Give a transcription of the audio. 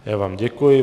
Já vám děkuji.